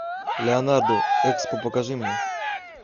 леонардо экспо покажи мне